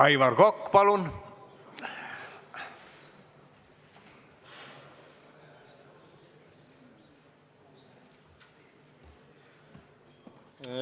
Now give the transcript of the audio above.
Aivar Kokk, palun!